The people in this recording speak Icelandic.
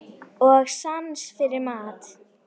Og sans fyrir mat.